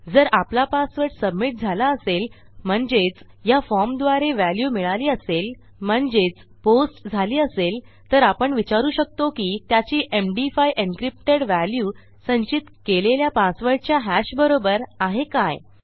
जर आपला password submit झाला असेल म्हणजेच या फॉर्मद्वारे व्हॅल्यू मिळाली असेल म्हणजेच पोस्ट झाली असेल तर आपण विचारू शकतो की त्याची एमडी5 एन्क्रिप्टेड व्हॅल्यू संचित केलेल्या पासवर्डच्या hashबरोबर आहे काय